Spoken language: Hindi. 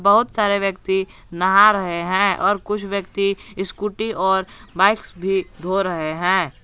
बहुत सारे व्यक्ति नहा रहे हैं और कुछ व्यक्ति स्कूटी और बाइक्स भी धो रहे हैं।